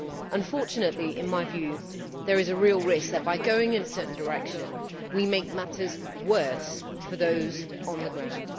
Unfortunately, in my view, there is a real risk that by going in a certain direction we make matters worse for those on the ground.